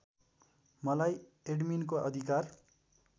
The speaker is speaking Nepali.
मलाई एडमिनको अधिकार